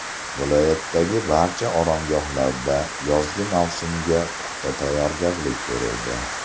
Viloyatdagi barcha oromgohlarda yozgi mavsumga puxta tayyorgarlik ko‘rildi.